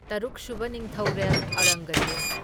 ꯇꯔꯨꯛ ꯁꯨꯕ ꯅꯤꯡꯊꯧꯔꯦꯜ ꯑꯣꯔꯪꯒꯖꯦꯕ꯫